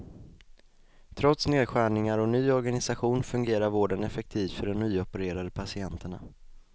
Trots nedskärningar och ny organisation fungerar vården effektivt för de nyopererade patienterna.